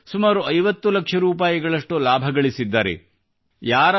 ಅದರಲ್ಲೂ ಸುಮಾರು 50 ಲಕ್ಷದಷ್ಟು ಲಾಭಗಳಿಸಿದ್ದಾರೆ